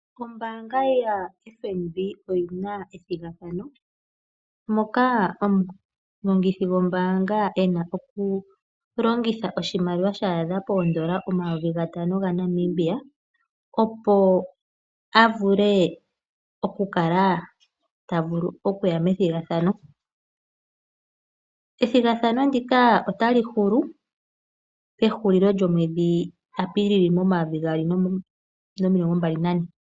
Kombaanga ya FNB oyina ethigathano ,moka omulongithi gombaanga ena oku longitha oshimaliwa sha adha poondola omayovi gatano ga Namibia, opo a vule oku kala a ya methigathano. Ethigathano ndika otali hulu pehulilo lyomwedhi Apilili momayovi gaali nomilongo mbali na ne.